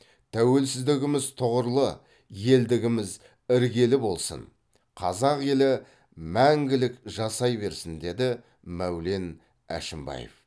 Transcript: тәуелсіздігіміз тұғырлы елдігіміз іргелі болсын қазақ елі мәңгілік жасай берсін деді мәулен әшімбаев